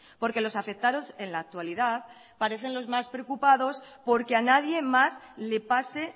porque los afectados en la actualidad parecen los más preocupados porque a nadie más le pase